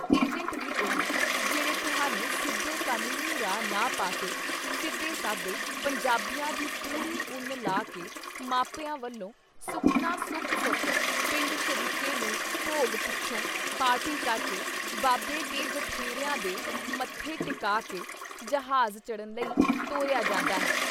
Agent ਵੀ ਉਹ ਜਿਹੜੇ ਤੁਹਾਨੂੰ ਸਿੱਧੇ ਕਨੂੰਨੀ ਰਾਹ ਨਾ ਪਾ ਕੇ ਸਿੱਧੇ-ਸਾਦੇ ਪੰਜਾਬੀਆਂ ਦੀ ਪੂਰੀ ਉੱਨ ਲਾਹ ਕੇ ਮਾਪਿਆਂ ਵੱਲੋਂ ਸੁੱਖਣਾ ਸੁੱਖ-ਸੁੱਖ, ਪਿੰਡ ਸ਼ਰੀਕੇ ਨੂੰ ਭੋਗ ਪਿੱਛੋਂ ਪਾਰਟੀ ਕਰਕੇ, ਬਾਬੇ ਤੇ ਜਠੇਰਿਆਂ ਦੇ ਮੱਥੇ ਟਿਕਾਅ ਕੇ, ਜ਼ਹਾਜ ਚੜ੍ਹਨ ਲਈ ਤੋਰਿਆ ਜਾਂਦਾ ਹੈ।